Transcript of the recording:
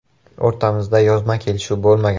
O‘rtamizda yozma kelishuv bo‘lmagan.